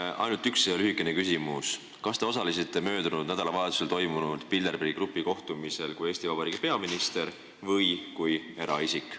Mul on ainult üks lühikene küsimus: kas te osalesite möödunud nädalavahetusel toimunud Bilderbergi grupi kohtumisel Eesti Vabariigi peaministrina või eraisikuna?